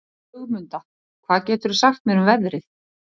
Ögmunda, hvað geturðu sagt mér um veðrið?